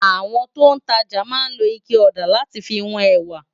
Awòn tó n tàjá má n ló iké òdá làtí fi wón èwá